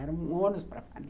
Era um ônus para a família.